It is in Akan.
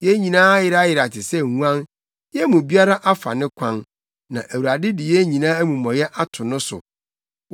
Yɛn nyinaa ayerayera te sɛ nguan, yɛn mu biara afa ne kwan; na Awurade de yɛn nyinaa amumɔyɛ ato no so.